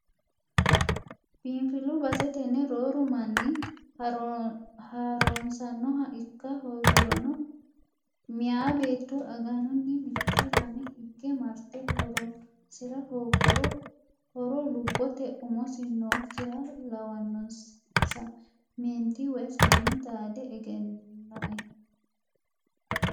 Biinfilu base tene rooru manni harunsanoha ikka hoogirono meeya beetto aganuni mite lame hige marte horonsira hooguro horo lubbote umosi nooyikkiha lawanonsa meenti woyi seenni xaade egeninohe.